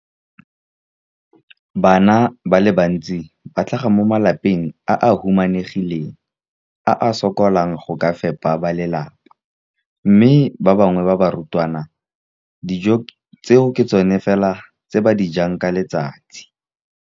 Bana ba le bantsi ba tlhaga mo malapeng a a humanegileng a a sokolang go ka fepa ba lelapa mme ba bangwe ba barutwana, dijo tseo ke tsona fela tse ba di jang ka letsatsi.